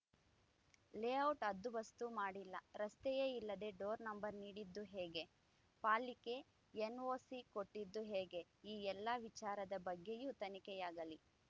layout ಹದ್ದುಬಸ್ತು ಮಾಡಿಲ್ಲ ರಸ್ತೆಯೇ ಇಲ್ಲದೇ ಡೋರ್‌ ನಂಬರ್‌ ನೀಡಿದ್ದು ಹೇಗೆ ಪಾಲಿಕೆ ಎನ್‌ಓಸಿ ಕೊಟ್ಟಿದ್ದು ಹೇಗೆ ಈ ಎಲ್ಲಾ ವಿಚಾರದ ಬಗ್ಗೆಯೂ ತನಿಖೆಯಾಗಲಿ